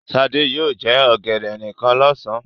Sadé yóò jẹ ọ̀gẹ̀dẹ̀ nìkan lọ́sàn-án.